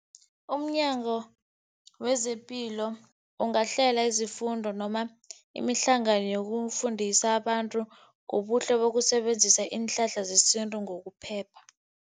UmNyango wezePilo ungahlela izifundo noma imihlangano yokufundisa abantu ngobuhle bokusebenzisa iinhlahla zesintu ngokuphepha.